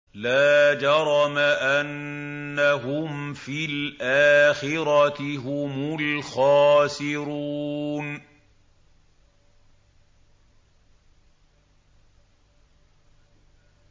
لَا جَرَمَ أَنَّهُمْ فِي الْآخِرَةِ هُمُ الْخَاسِرُونَ